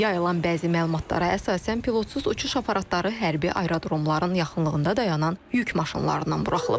Yayılan bəzi məlumatlara əsasən pilotsuz uçuş aparatları hərbi aerodromların yaxınlığında dayanan yük maşınlarından buraxılıb.